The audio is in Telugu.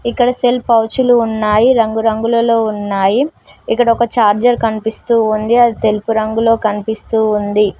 ఇక్కడ సెల్ పౌచులు ఉన్నాయి రంగు రంగులలో ఉన్నాయి ఇక్కడ ఒక చార్జర్ కనిపిస్తూ ఉంది అది తెలుపు రంగులో కనిపిస్తూ ఉంది.